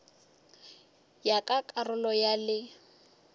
ya ka karolo ya le